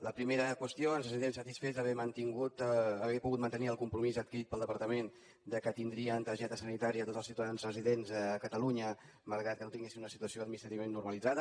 la primera qüestió ens sentim satisfets d’haver pogut mantenir el compromís adquirit pel departament que tindrien targeta sanitària tots els ciutadans residents a catalunya malgrat que no tinguessin una situació administrativament normalitzada